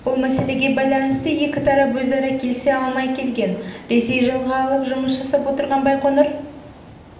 бұл мәселеге байланысты екі тарап өзара келісе алмай келген ресей жалға алып жұмыс жасап отырған байқоңыр